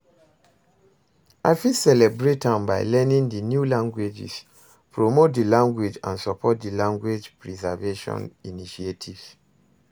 I fit celebrate am by learning di new languages, promote di language and support di language preservation initiatives.